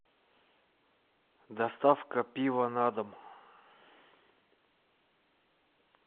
доставка пива на дом